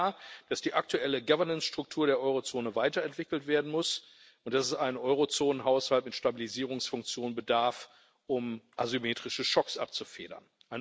Es ist klar, dass die aktuelle Governance Struktur der Eurozone weiterentwickelt werden muss und dass es eines Eurozonenhaushalts mit Stabilisierungsfunktion bedarf, um asymmetrische Schocks abzufedern.